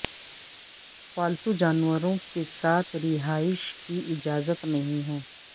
پالتو جانوروں کے ساتھ رہائش کی اجازت نہیں ہے